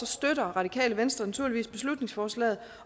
støtter radikale venstre naturligvis beslutningsforslaget